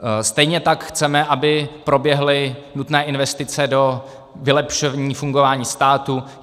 Stejně tak chceme, aby proběhly nutné investice do vylepšení fungování státu.